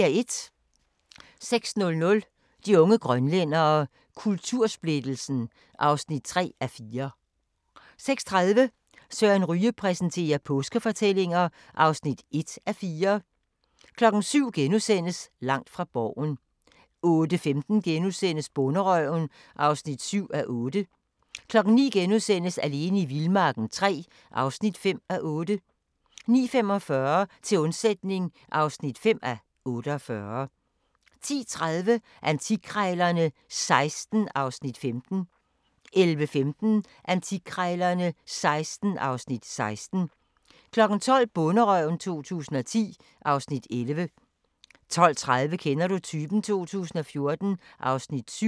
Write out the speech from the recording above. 06:00: De unge grønlændere – kultursplittelsen (3:4) 06:30: Søren Ryge præsenterer: Påskefortællinger (1:4) 07:00: Langt fra Borgen * 08:15: Bonderøven (7:8)* 09:00: Alene i vildmarken III (5:8)* 09:45: Til undsætning (5:48) 10:30: Antikkrejlerne XVI (Afs. 15) 11:15: Antikkrejlerne XVI (Afs. 16) 12:00: Bonderøven 2010 (Afs. 11) 12:30: Kender du typen? 2014 (Afs. 7)